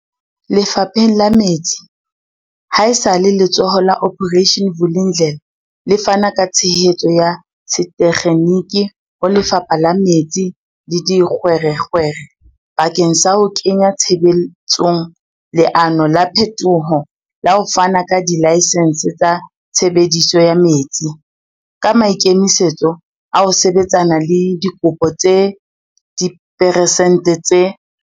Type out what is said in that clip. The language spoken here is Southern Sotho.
Lefapheng la metsi, ha esale Letsholo la Operation Vulindlela le fana ka tshehetso ya setekgeniki ho Lefapha la Metsi le Dikgwerekgwere bakeng sa ho kenya tshebetsong leano la phetoho la ho fana ka dilaesense tsa tshebediso ya metsi, ka maikemisetso a ho sebetsana le dikopo tse diperesente tse